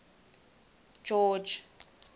george